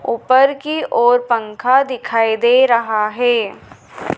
उपर की ओर पंखा दिखाई दे रहा है।